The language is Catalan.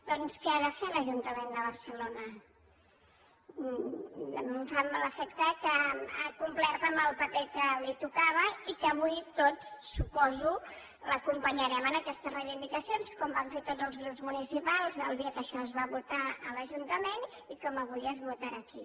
doncs què ha de fer l’ajuntament de barcelona em fa l’efecte que ha complert el paper que li tocava i que avui tots suposo l’acompanyarem en aquestes reivindicacions com van fer tots els grups municipals el dia que això es va votar a l’ajuntament i com avui es votarà aquí